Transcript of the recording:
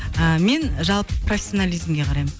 ыыы мен жалпы профессионализмге қараймын